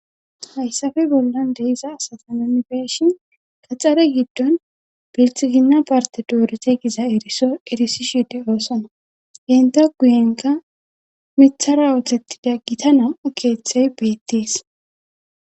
Hayssafe bollan deessa asasa mimifeshin kaxxare giddon biltizina parte doorete giza eriso erisishide oosona genta guyenka mithara ooththettida gita nam7u keeththey beettees